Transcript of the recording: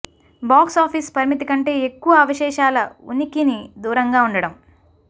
box office పరిమితి కంటే ఎక్కువ అవశేషాల ఉనికిని దూరంగా ఉండటం